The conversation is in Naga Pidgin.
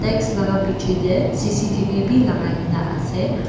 x laka bichae tae C_C_T_V bi lakai kae na ase.